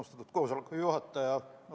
Austatud koosoleku juhataja!